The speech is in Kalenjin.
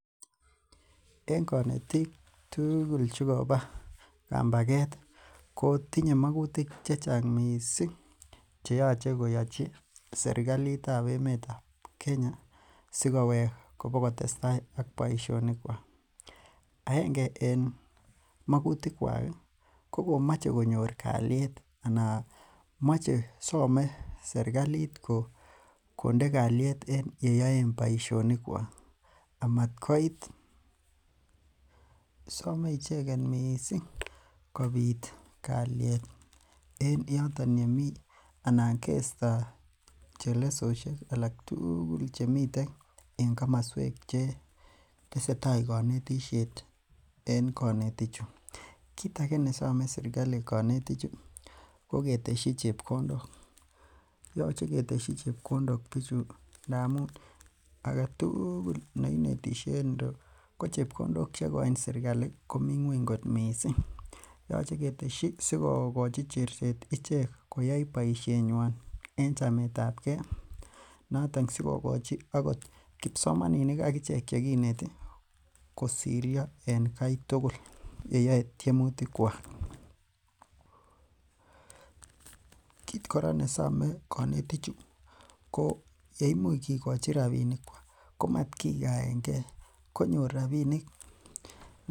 En konetik tugul chekoba kambaget ko tinye magutik checheng missing, cheyoche koyachi serkalitab emeetab Kenya sikowektage boibusiet. Sogowek kobokotestai ak boisionik. Aenge en magutik kuak ih , ko komache konyor kaliet anan moche somee serkalit konde kaliet en yeyoen boisionik kuak. Amotkoit same icheket missing kobit kaliet en yooton yemii anan keisto chelesosiek alak tugul chemiten en komosuek che tesetai konetisiet en konetik chu. Kit age nesome serkalit kanetichu ko ketesyi chebkondok yoche ketesyi chebkondok bichu ndamuun aketugul neinetishe en yu ko chebkondok cheikoin serkalit ko mi ng'uany missing yoche ketesyi sikokoi cherset icheket koyai boisienyuan en chametabke noton sikokochi agot kibsomaninik agichek chekinete kosirya en Kai tugul yeyao tiemutik kuak. Kit kora nesome konetichu yeumuch kikoi rabinik komat kikaenge.